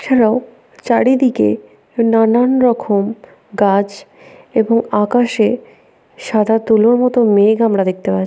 ছাড়াও চারিদিকে নানান রকম গাছ এবং আকাশে সাদা তুলোর মত মেঘ আমরা দেখতে পা--